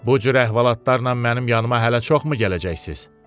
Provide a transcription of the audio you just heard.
Bucür əhvalatlarla mənim yanıma hələ çoxmu gələcəksiz?